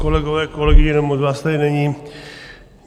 Kolegové, kolegyně, no, moc vás tady není.